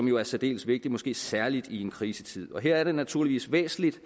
jo er særdeles vigtigt måske særlig i en krisetid her er det naturligvis væsentligt